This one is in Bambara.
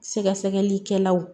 Sɛgɛsɛgɛlikɛlaw